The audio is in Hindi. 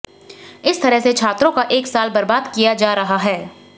इस तरह से छात्रों का एक साल बर्बाद किया जा रहा है